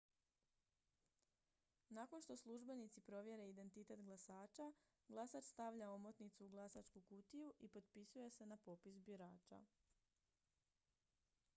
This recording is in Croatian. nakon što službenici provjere identitet glasača glasač stavlja omotnicu u glasačku kutiju i potpisuje se na popis birača